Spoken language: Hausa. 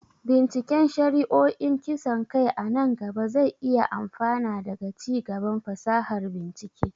binciken shari'o'in kisan kai a nan gaba zai iya amfana daga ci gaban fasahar bincike.